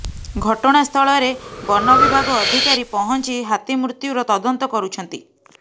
ଘଟଣାସ୍ଥଳରେ ବନ ବିଭାଗ ଅଧିକାରୀ ପହଞ୍ଚି ହାତୀ ମୃତ୍ୟୁର ତଦନ୍ତ କରୁଛନ୍ତି